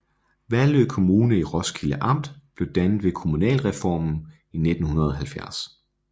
Vallø Kommune i Roskilde Amt blev dannet ved kommunalreformen i 1970